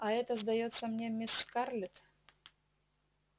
а это сдаётся мне мисс скарлетт